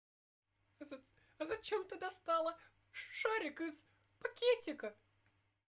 а зачем ты достала шарик из пакетика